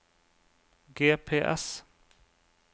GPS